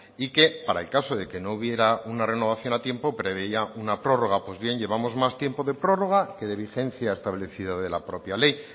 y que para el caso de que no hubiera una renovación a tiempo preveía una prórroga pues bien llevamos más tiempo de prórroga que de vigencia establecida de la propia ley